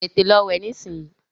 Tètè Lọ wẹ̀ nisinyi!